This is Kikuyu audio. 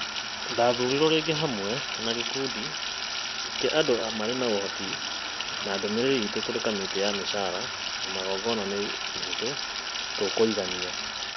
"Ndathuurirwo rĩngĩ hamwe na gĩkundi kĩa andũ marĩ na ũhoti na ndũmĩrĩri iitũ kũrĩ Kamĩtĩ ya Mĩcaara na Magongona nĩ ĩhũthũ - Tũkũigania.